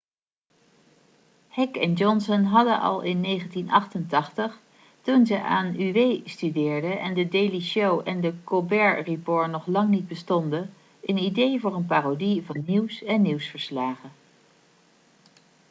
heck en johnson hadden al in 1988 toen ze aan uw studeerden en the daily show en the colbert report nog lang niet bestonden een idee voor een parodie van nieuws en nieuwsverslagen